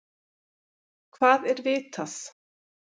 Hvað er vitað?